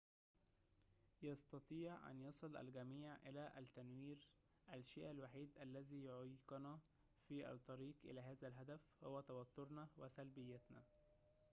يستطيع أن يصل الجميع إلى التنوير الشيء الوحيد الذي يعيقنا في الطريق إلى هذا الهدف هو توترنا وسلبيتنا